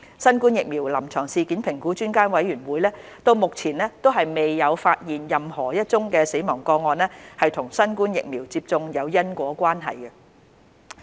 新冠疫苗臨床事件評估專家委員會目前未有發現任何一宗死亡個案與新冠疫苗接種有因果關係。